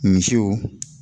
Misiw